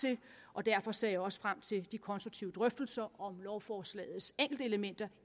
og derfor ser jeg også frem til de konstruktive drøftelser om lovforslagets enkeltelementer